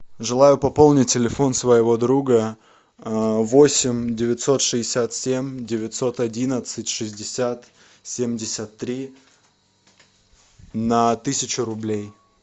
желаю пополнить телефон своего друга восемь девятьсот шестьдесят семь девятьсот одиннадцать шестьдесят семьдесят три на тысячу рублей